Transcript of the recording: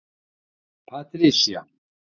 Patricia